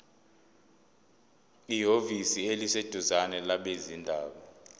ehhovisi eliseduzane labezindaba